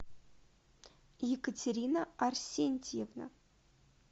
екатерина арсентьевна